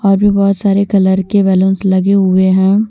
और भी बहोत सारे कलर के बैलूंस लगे हुए हैं।